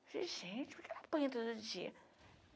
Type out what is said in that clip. Falei, gente, por que ela apanha todo dia?